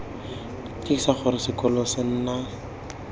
tiisa gore sekolo se na